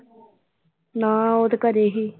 ਨਾ ਉਹ ਤਾਂ ਘਰੇ ਸੀ।